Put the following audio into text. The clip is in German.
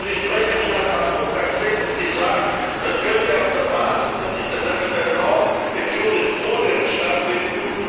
Ihre Sprecherin hat am Montag selbst gesagt, das könnte auf der Basis von international law and jurisprudence stattfinden.